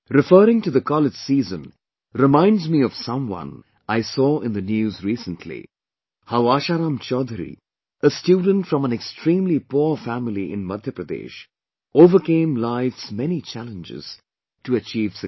Referring to the college season reminds me of someone I saw in the News recently... how Asharam Choudhury a student from an extremely poor family in Madhya Pradesh overcame life's many challenges to achieve success